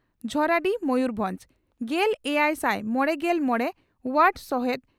ᱡᱷᱚᱨᱟᱰᱤ ᱢᱚᱭᱩᱨᱵᱷᱚᱸᱡᱽ ᱾ᱜᱮᱞ ᱮᱭᱟᱭ ᱥᱟᱭ ᱢᱚᱲᱮᱜᱮᱞ ᱢᱚᱲᱮ ᱚᱣᱟᱨᱰ ᱥᱚᱦᱮᱫ